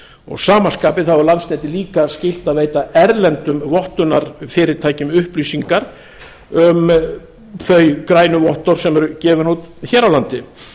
að sama skapi þá er landsneti líka skylt að veita erlendum vottunarfyrirtækjum upplýsingar um þau grænu vottorð sem eru gefin út hér á landi